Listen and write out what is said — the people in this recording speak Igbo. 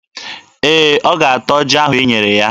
Ee, ọ ga-ata ọjị ahụ i nyere ya.